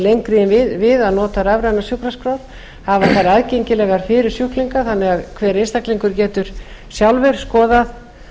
en við að nota rafrænar sjúkraskrár hafa þær aðgengilegar fyrir sjúklinga þannig að hver einstaklingur getur sjálfur skoðað